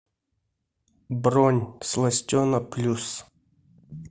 бронь сластена плюс